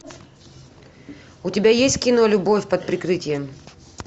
у тебя есть кино любовь под прикрытием